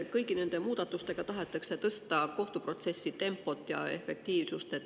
Kõigi nende muudatustega tahetakse tõsta kohtuprotsessi tempot ja efektiivsust.